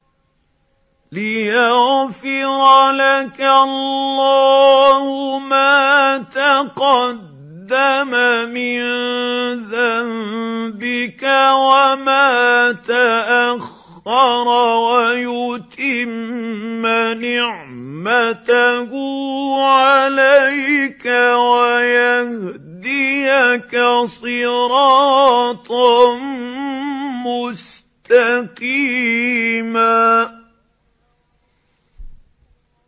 لِّيَغْفِرَ لَكَ اللَّهُ مَا تَقَدَّمَ مِن ذَنبِكَ وَمَا تَأَخَّرَ وَيُتِمَّ نِعْمَتَهُ عَلَيْكَ وَيَهْدِيَكَ صِرَاطًا مُّسْتَقِيمًا